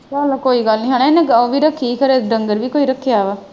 ਚੱਲ ਕੋਈ ਗੱਲ ਨਹੀਂ ਹਣਾ ਇਹਨੇ ਉਹ ਵੀ ਰੱਖੀ ਖਰੇ ਡੰਗਰ ਵੀ ਕੋਈ ਰੱਖਿਆ ਵਾ।